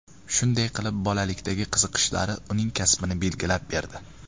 Shunday qilib bolalikdagi qiziqishlari uning kasbini belgilab berdi.